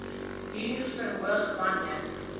huur verhoog wanneer